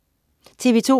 TV2: